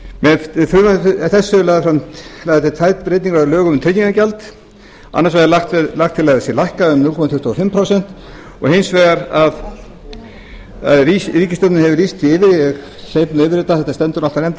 með frumvarpi þessu eru lagðar til tvær breytingar á lögum um tryggingagjald annars vegar er lagt til að það sé lækkað um núll komma tuttugu og fimm prósent og hins vegar að ríkisstjórnin hefur lýst því yfir ég hleyp yfir þetta þetta stendur náttúrlega í